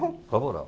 – Prova oral.